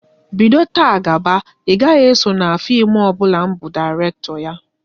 Bido taa gaba, ị gaghị eso na fim ọbụla m bu Dairekto ya!